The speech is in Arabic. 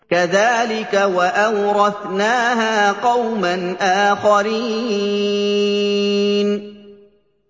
كَذَٰلِكَ ۖ وَأَوْرَثْنَاهَا قَوْمًا آخَرِينَ